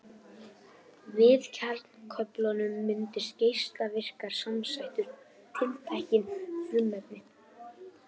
Við kjarnaklofnun myndast geislavirkar samsætur tiltekinna frumefna.